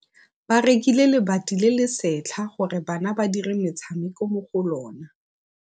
Ba rekile lebati le le setlha gore bana ba dire motshameko mo go lona.